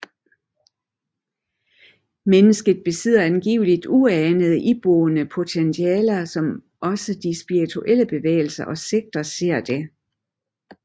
Mennesket besidder angiveligt uanede iboende potentialer som også de spiritistiske bevægelser og sekter ser det